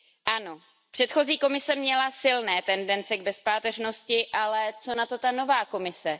Ano, předchozí Komise měla silné tendence k bezpáteřnosti, ale co na to nová Komise?